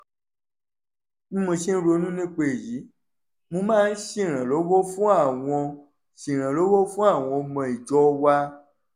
bí mo ṣe ń ronú nípa èyí mo máa ń ṣèrànwọ́ fún àwọn ṣèrànwọ́ fún àwọn ọmọ ìjọ wa